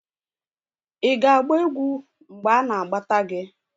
ị ga-agba egwu mgbe anagbata gi?